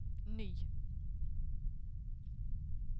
ny